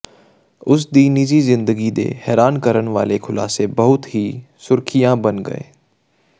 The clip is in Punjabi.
ਉਸ ਦੀ ਨਿਜੀ ਜ਼ਿੰਦਗੀ ਦੇ ਹੈਰਾਨ ਕਰਨ ਵਾਲੇ ਖੁਲਾਸੇ ਬਹੁਤ ਸੁਰਖੀਆਂ ਬਣ ਗਏ